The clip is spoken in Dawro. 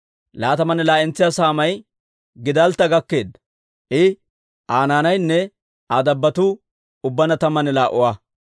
Laatamanne laa"entsa saamay Giddaltta gakkeedda; I, Aa naanaynne Aa dabbotuu ubbaanna tammanne laa"a.